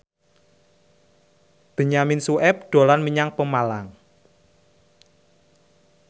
Benyamin Sueb dolan menyang Pemalang